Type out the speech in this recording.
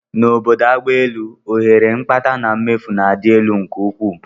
N'obodo agbaelu, ohere mkpata na mmefu na-adị elu nke ukwuu